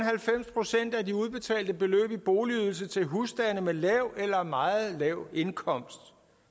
procent af de udbetalte beløb i boligydelse til husstande med lav eller meget lav indkomst